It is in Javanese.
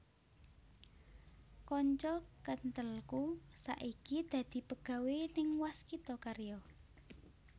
Konco kenthelku saiki dadi pegawe ning Waskita Karya